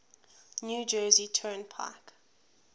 new jersey turnpike